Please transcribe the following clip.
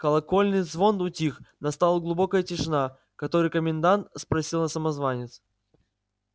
колокольный звон утих настала глубокая тишина который комендант спросила самозванец